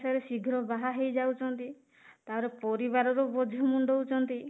ଯେତେ ବେଳେ ଶୀଘ୍ର ବାହା ହେଇଯାଉଛନ୍ତି ତାପରେ ପରିବାରର ବୋଝ ମୁଣ୍ଡଉଛନ୍ତି